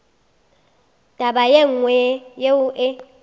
taba ye nngwe yeo e